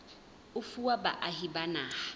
e fuwa baahi ba naha